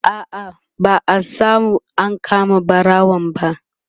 a'a ba'a samu an kama ɓarawon ba